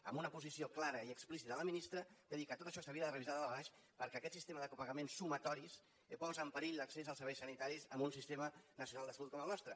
amb una posició clara i explícita de la ministra de dir que tot això s’havia de revisar de dalt a baix perquè aquest sistema de copagaments sumatoris posa en perill l’accés als serveis sanitaris en un sistema nacional de salut com el nostre